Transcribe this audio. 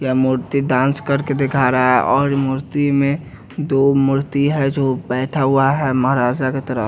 क्या मूर्ति डांस करके दिखा रहा है और मूर्ति में दो मूर्ति है जो बैठा हुआ है महाराजा के तरफ।